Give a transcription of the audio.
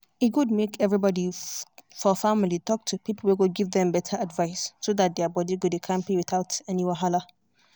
e good make everybody for family talk to people wey go give them better advice so that their body go dey kampe without any wahala.